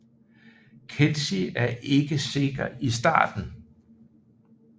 Kelsi er ikke sikker i starten